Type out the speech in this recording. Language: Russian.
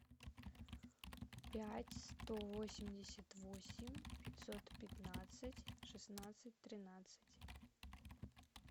пять сто восемьдесят восемь пятьсот пятнадцать шестнадцать тринадцать